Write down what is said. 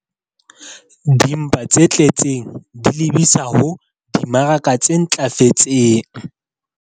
Dimpa tse tletseng di lebisa ho dimaraka tse ntlafetseng.